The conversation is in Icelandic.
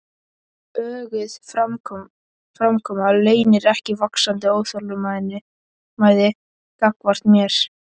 Öguð framkoma leynir ekki vaxandi óþolinmæði gagnvart mér.